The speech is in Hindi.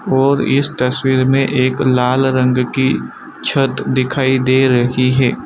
और इस तस्वीर में एक लाल रंग की छत दिखाई दे रही है।